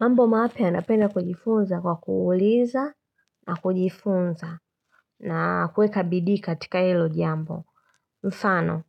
Mambo mapya napenda kujifunza kwa kuuliza na kujifunza na kuweka bidii katika ilo jambo. Mfano,